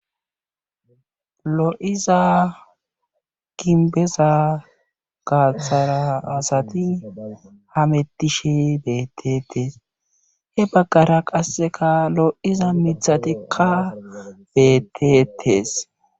Lo'iza kimbeza gaatara asati hametishe beetetees.he bagara qassekka lo'iza miththati betetees.